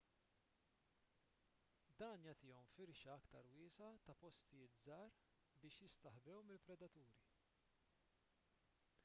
dan jagħtihom firxa aktar wiesgħa ta' postijiet żgħar biex jistaħbew mill-predaturi